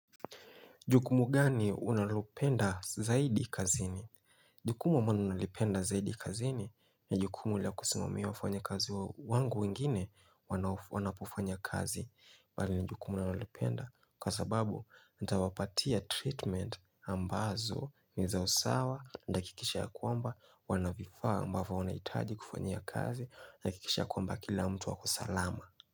Jukumu gani unalopenda zaidi kazini? Jukumu ambalo nalipenda zaidi kazini na jukumu la kusimamia wafanya kazi wa wangu wengine wanao wanapofanya kazi bali na jukumu ninalopenda kwa sababu natawapatia treatment ambazo niza usawa na nakikisha ya kwamba wanavifaa ambavo wanahitaji kufanya kazi na nakikisha ya kwamba kila mtu ako salama.